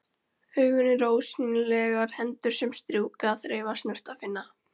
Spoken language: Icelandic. Augun eru ósýnilegar hendur sem strjúka, þreifa, snerta, finna.